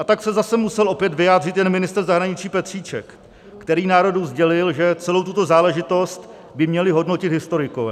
A tak se zase musel opět vyjádřit jen ministr zahraničí Petříček, který národu sdělil, že celou tuto záležitost by měli hodnotit historikové.